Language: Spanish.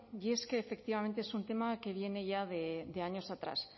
y es que efectivamente es un tema que viene ya de años atrás